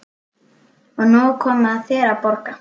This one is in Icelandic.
Og nú er komið að þér að borga.